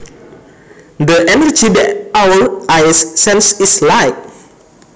The energy that our eyes sense is light